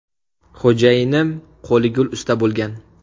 Xo‘jayinim qo‘li gul usta bo‘lgan.